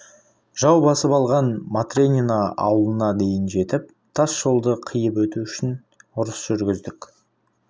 жау басып алған матренино ауылына дейін жетіп тас жолды қиып өту үшін ұрыс жүргіздік